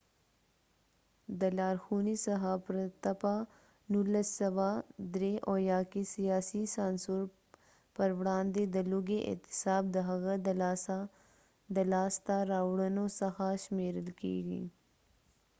د لارښونې څخه پرته په ۱۹۷۳ کې سیاسې سانسور پروړاندې د لوږې اعتصاب د هغه د لاسته راوړنو څخه شمیرل کیږي